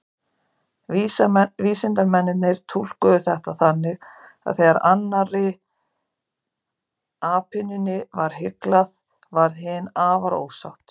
Vísindamennirnir túlkuðu þetta þannig að þegar annarri apynjunni var hyglað, varð hin afar ósátt.